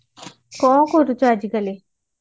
କଣ କରୁଛ ଆଜି କାଲି